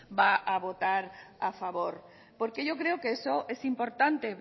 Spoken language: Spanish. va a votar a favor porque yo creo que eso es importante